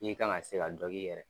I kan ka se ka dɔ k'i yɛrɛ ye.